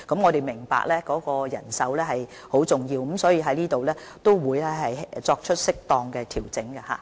我們明白人手的重要性，所以我們會在這方面作出適當調整。